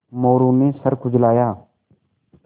मोरू ने सर खुजलाया